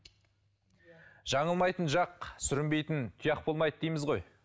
жаңылмайтын жақ сүрінбейтін тұяқ болмайды дейміз ғой